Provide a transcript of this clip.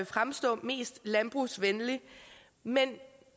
fremstå mest landbrugsvenligt men